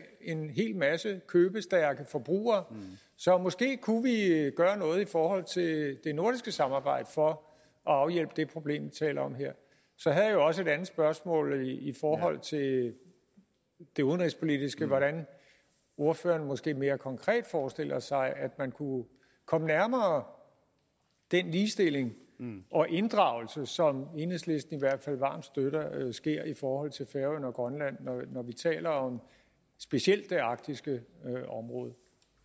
en hel masse købestærke forbrugere så måske kunne vi gøre noget i forhold til det nordiske samarbejde for at afhjælpe det problem vi taler om her så havde jeg også et andet spørgsmål i forhold til det det udenrigspolitiske om hvordan ordføreren måske mere konkret forestiller sig at man kunne komme nærmere den ligestilling og inddragelse som enhedslisten i hvert fald varmt støtter sker i forhold til færøerne og grønland når vi taler om specielt det arktiske område